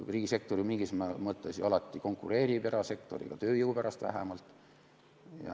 Riigisektor ju mingis mõttes alati konkureerib erasektoriga, tööjõu pärast vähemalt.